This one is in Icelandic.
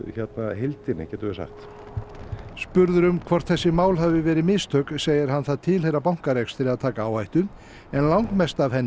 heildinni getum við sagt spurður um hvort þessi mál hafi verið mistök segir hann það tilheyra bankarekstri að taka áhættu en langmest af henni